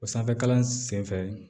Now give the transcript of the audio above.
O sanfɛkalan sen